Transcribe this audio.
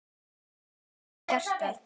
Mér er þröngt um hjarta.